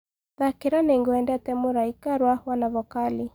thakĩra nĩngwendete mũraĩka rwa wanavokali